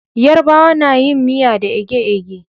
Yarabawa nayin miya da eje-eje